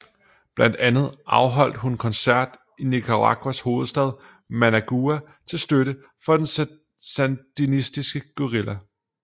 Blandt andet afholdt hun koncert i Nicaraguas hovedstad Managua til støtte for den sandinistiske guerilla